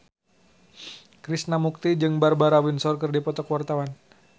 Krishna Mukti jeung Barbara Windsor keur dipoto ku wartawan